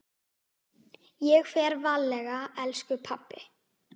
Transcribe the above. Ég fer varlega elsku pabbi.